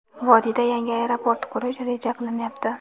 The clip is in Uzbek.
vodiyda yangi aeroport qurish reja qilinyapti.